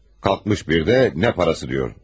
Qalxmış bir də nə parası deyir.